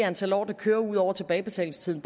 antal år det kører ud over tilbagebetalingstiden